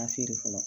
A feere fɔlɔ